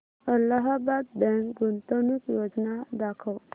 Allahabad bank गुंतवणूक योजना दाखव